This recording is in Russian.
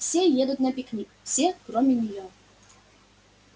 все едут на пикник все кроме неё